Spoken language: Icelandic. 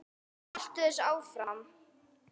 Haltu þessu áfram.